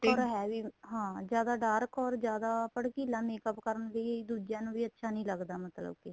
heavy ਹਾਂ ਜਿਆਦਾ dark or ਜਿਆਦਾ ਭੜਕੀਲਾਂ makeup ਕਰਨ ਦੀ ਦੂਜਿਆਂ ਨੂੰ ਵੀ ਅੱਛਾ ਨਹੀਂ ਲੱਗਦਾ ਮਤਲਬ ਕੇ